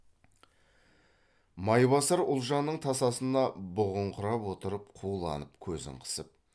майбасар ұлжанның тасасына бұғыңқырап отырып қуланып көзін қысып